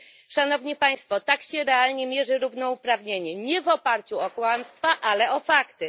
Szanowni państwo, tak się realnie mierzy równouprawnienie nie w oparciu o kłamstwa, ale o fakty.